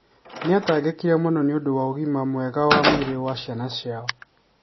Nĩ atangĩkire mũno nĩ ũndũ wa ũgima mwega wa mwĩrĩ wa ciana ciao.